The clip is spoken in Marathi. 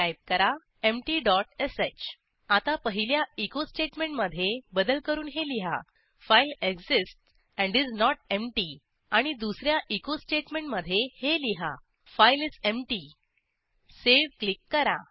टाईप करा emptyश आता पहिल्या एचो स्टेटमेंटमधे बदल करून हे लिहा file exists and is not empty आणि दुस या एचो स्टेटमेंटमधे हे लिहा फाइल इस एम्प्टी Saveक्लिक करा